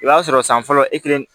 I b'a sɔrɔ san fɔlɔ e kelen